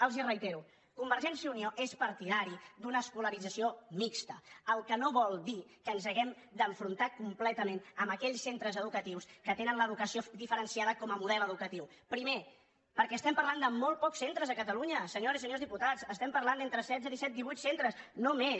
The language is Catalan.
els ho reitero convergència i unió és partidària d’una escolarització mixta la qual cosa no vol dir que ens hàgim d’enfrontar completament amb aquells centres educatius que tenen l’educació diferenciada com a model educatiu primer perquè estem parlant de molt pocs centres a catalunya senyores i senyors diputats estem parlant d’entre setze disset divuit centres no més